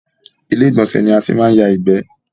Ilé ìgbọ̀nsẹ̀ ni a ti máa ń ya ìgbẹ́